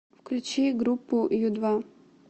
включи группу ю два